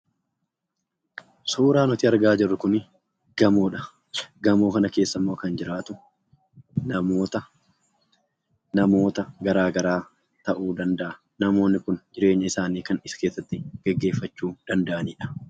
Suuraan nuti argaa jirru kun gamoodha. Gamoo kana keesaa immoo kan jiraatu namoota garagaraa ta'uu danda'a. Namoonni kun jireenya isaanii kan as keessatti gaggeeffachuu danda'u.